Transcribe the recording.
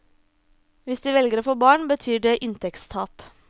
Hvis de velger å få barn, betyr det inntektstap.